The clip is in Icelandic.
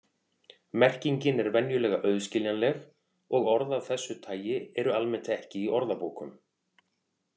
Merkingin er venjulega auðskiljanleg og orð af þessu tagi eru almennt ekki í orðabókum.